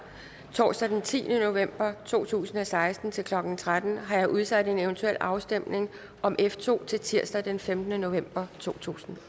torsdag den tiende november to tusind og seksten til klokken tretten har jeg udsat en eventuel afstemning om f to til tirsdag den femtende november totusinde